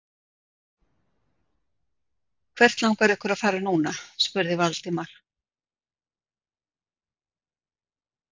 Hvert langar ykkur að fara núna? spurði Valdimar.